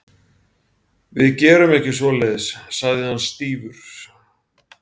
Við gerum ekki svoleiðis- sagði hann stífur.